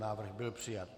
Návrh byl přijat.